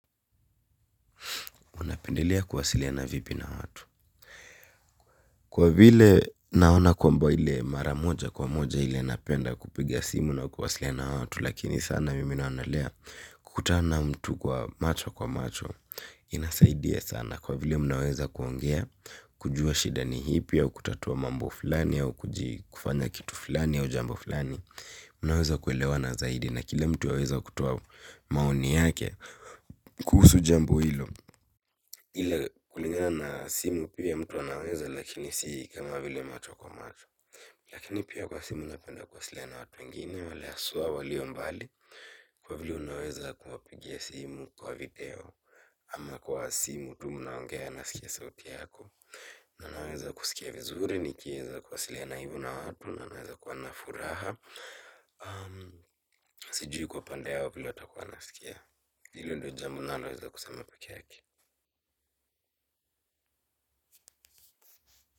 Unapendelea kuwasiliana vipi na watu. Kwa vile naona kwamba ile mara moja kwa moja ile napenda kupiga simu na kuwasiliana na watu lakini sana mimi naonalea kukutana na mtu kwa macho kwa macho inasaidia sana. Na kwa vile mnaweza kuongea kujua shida ni ipi au kutatua mambo fulani au kufanya kitu fulani au jambo fulani. Mnaweza kuelewa na zaidi na kila mtu anaweza kutoa maoni yake kuhusu jambo hilo. Ila kulingana na simu pia mtu anaweza lakini si kama vile macho kwa macho. Lakini pia kwa simu napenda kuwasiliana na watu wengine wale haswa walio mbali kwa vile unaweza kuwapigia simu kwa video. Ama kwa asimu tu mnaongea anasikia sauti yako. Na naweza kusikia vizuri nikieza kuwasiliana na watu. Na naweza kuwa na furaha. Sijui kwa upande wao vile watakuwa wanasikia. Hilo ndo jambo ninaloweza kusema pikee yake.